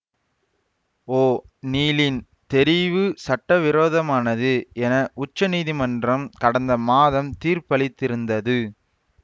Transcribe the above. ஓநீலின் தெரிவு சட்டவிரோதமானது என உச்சநீதிமன்றம் கடந்த மாதம் தீர்ப்பளித்திருந்தது